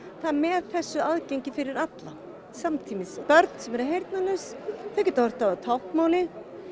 með þessu aðgengi fyrir alla samtímis börn sem eru heyrnalaus þau geta horft á táknmálið